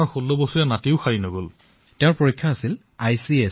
মিলামিছা কৰা নাছিলো আৰু চিকিৎসকসকলেও লবলগীয়া যত্নখিনি লৈছিল